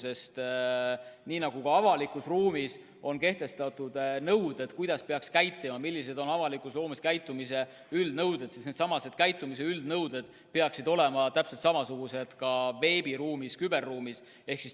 Sest nii nagu üldse avalikus ruumis on kehtestatud nõuded, kuidas peaks käituma, millised on avalikus ruumis käitumise üldnõuded, siis needsamad käitumise üldnõuded peaksid kehtima ka veebiruumis, küberruumis.